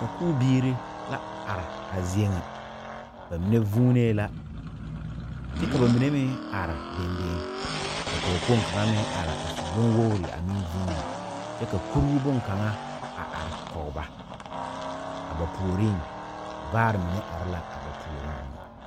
Sakubiiri la are a zie ŋa ba mine vuunee la kyɛ ka ba mine meŋ are deŋ deŋ ka pɔgekpoŋ kaŋa meŋ are a su bonwogri a meŋ vuuni kyɛ ka kuruu bonkaŋa a are kɔge ba a ba puoriŋ vaare meŋ are la a ba puoriŋ meŋ.